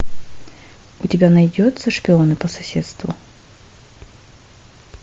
у тебя найдется шпионы по соседству